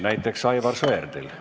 Näiteks Aivar Sõerdil.